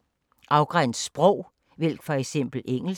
Afgræns sprog: vælg for eksempel engelsk